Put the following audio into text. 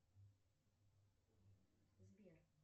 сбер